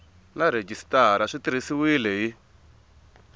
na rhejisitara swi tirhisiwile hi